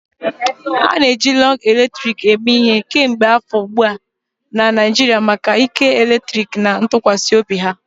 A na-eji lug eletrik eme ihe kemgbe afọ ugbu a na Naijiria maka ike eletrik na ntụkwasị obi ha.